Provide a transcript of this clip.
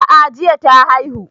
A'a jiya ta haihu